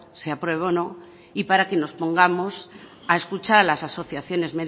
se apruebo o no y para que nos pongamos a escuchar a las asociaciones